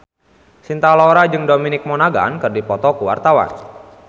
Cinta Laura jeung Dominic Monaghan keur dipoto ku wartawan